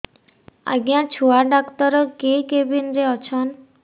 ଆଜ୍ଞା ଛୁଆ ଡାକ୍ତର କେ କେବିନ୍ ରେ ଅଛନ୍